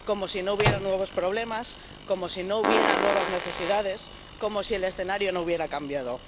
Como si no hubiera nuevos problemas, como si no hubiera nuevas necesidades, como si el escenario no hubiera cambiado.